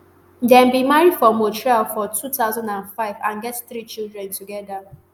dem bin marry for montreal for two thousand and five and get three children togeda